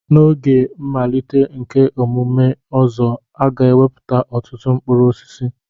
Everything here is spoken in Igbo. N'oge mmalite nke emume Ozo, a ga-ewepụta ọtụtụ mkpụrụ osisi.